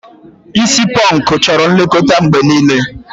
Isi pọnkụ chọrọ nlekọta mgbe niile.